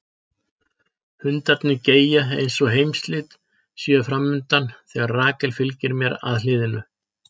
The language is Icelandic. Hundarnir geyja eins og heimsslit séu fram undan þegar Rakel fylgir mér að hliðinu.